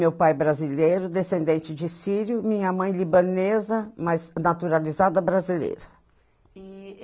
Meu pai brasileiro, descendente de sírio, minha mãe libanesa, mas naturalizada brasileira.